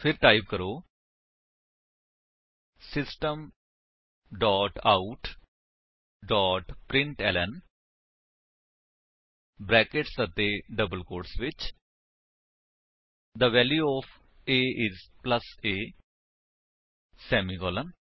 ਫਿਰ ਟਾਈਪ ਕਰੋ system dot out dot println brackets ਅਤੇ ਡਬਲ ਕੋਟਸ ਵਿੱਚ the value of a is plus a semicolon